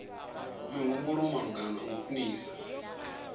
mihumbulo malugana na u khwinisa